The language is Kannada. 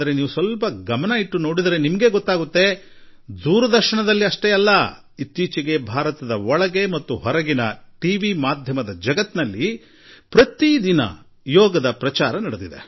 ಆದರೆ ತಾವು ಸ್ವಲ್ಪ ಗಮನವಿಟ್ಟು ನೋಡಿದರೆ ಕೇವಲ ದೂರದರ್ಶನದಲ್ಲಷ್ಟೇ ಅಲ್ಲ ಈ ದಿನಗಳಲ್ಲಿ ಭಾರತ ಹಾಗೂ ಭಾರತದ ಹೊರಗೆ ಟಿವಿ ಮಾಧ್ಯಮದಲ್ಲಿ ಪ್ರತಿನಿತ್ಯ ಯೋಗ ಕುರಿತು ಪ್ರಚಾರವಾಗುತ್ತಿದೆ